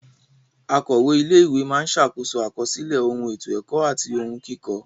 Akọ̀we ilé ìwé máa ṣàkóso àkọsílẹ̀ ohun ètò ẹ̀kọ́ àti ohun kíkọ.